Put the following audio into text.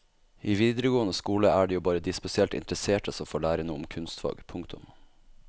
I videregående skole er det jo bare de spesielt interesserte som får lære noe om kunstfag. punktum